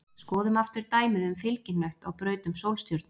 Skoðum aftur dæmið um fylgihnött á braut um sólstjörnu.